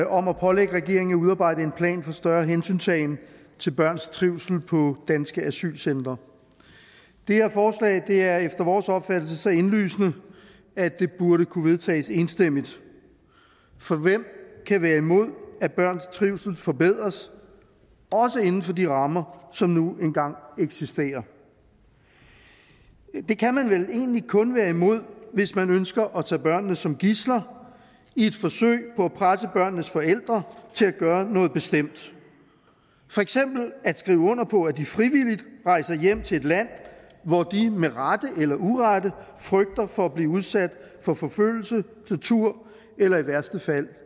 om at pålægge regeringen at udarbejde en plan for større hensyntagen til børns trivsel på danske asylcentre det her forslag er efter vores opfattelse så indlysende at det burde kunne vedtages enstemmigt for hvem kan være imod at børns trivsel forbedres også inden for de rammer som nu engang eksisterer det kan man vel egentlig kun være imod hvis man ønsker at tage børnene som gidsler i et forsøg på at presse børnenes forældre til at gøre noget bestemt for eksempel at skrive under på at de frivilligt rejser hjem til et land hvor de med rette eller urette frygter for at blive udsat for forfølgelse tortur eller i værste fald